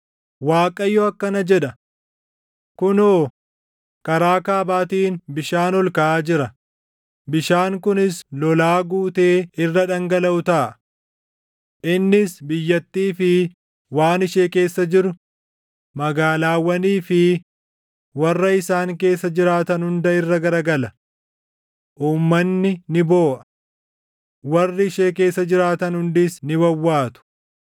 Waaqayyo akkana jedha: “Kunoo, karaa kaabaatiin bishaan ol kaʼaa jira; bishaan kunis lolaa guutee irra dhangalaʼu taʼa. Innis biyyattii fi waan ishee keessa jiru, magaalaawwanii fi warra isaan keessa jiraatan hunda irra garagala. Uummanni ni booʼa; warri ishee keessa jiraatan hundis ni wawwaatu;